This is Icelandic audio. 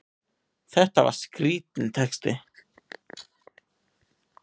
Þetta var skrítinn texti!